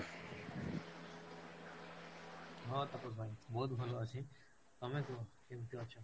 ହଁ ତାପସ ଭାଇ ବହୁତ ଭଲ ଅଛି, ତମେ କୁହ କେମିତି ଅଛ?